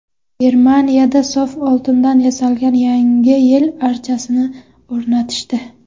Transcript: Germaniyada sof oltindan yasalgan Yangi yil archasini o‘rnatishdi.